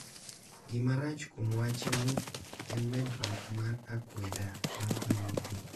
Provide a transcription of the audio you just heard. Gima rach kuom wachni en medruok mar akweda mar dhoudi.